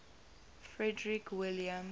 frederick william